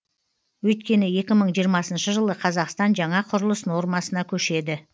өйткені екі мың жиырмасыншы жылы қазақстан жаңа құрылыс нормасына көшеді